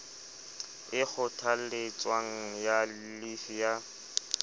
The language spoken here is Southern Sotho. e kgothaletswang ya llifi ya